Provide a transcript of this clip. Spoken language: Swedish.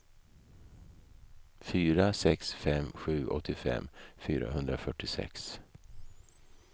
fyra sex fem sju åttiofem fyrahundrafyrtiosex